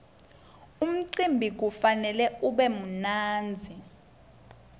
umcimbi kufanele ube mnandzi